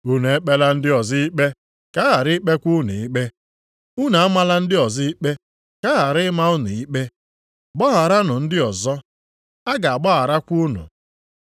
“Unu ekpela ndị ọzọ ikpe, ka a ghara ikpekwa unu ikpe. Unu amala ndị ọzọ ikpe ka a ghara ịma unu ikpe. Gbagharanụ ndị ọzọ, a ga-agbagharakwa unu.